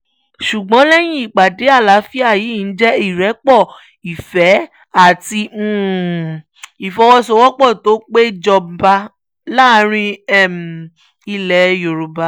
ṣùgbọ́n lẹ́yìn ìpàdé àlàáfíà yìí ǹjẹ́ ìrẹ́pọ̀ ìfẹ́ àti ìfọwọ́sowọ́pọ̀ tó pé jọba láàrin ilẹ̀ yorùbá